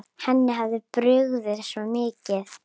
Henni hafði brugðið svo mikið.